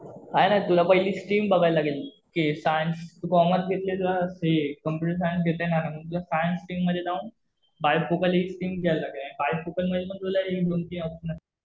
काही नाही तुला पहिले स्ट्रीम बघावी लागेल कि सायन्स, कॉमर्स घेतलं तर तुला कम्प्युटर सायन्स घेता येणार नाही. मग तुला सायन्स स्ट्रीम मध्ये जाऊन बायफोकल एक स्ट्रीम घ्यावी लागेल. आणि बायफोकल मध्ये पण तुला दोन-तीन ऑप्शन